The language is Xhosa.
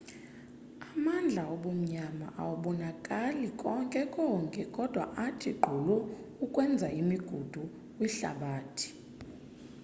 amandla obumnyama awabonakali konke konke kodwa athi gqolo ukwenza imigudu kwihlabathi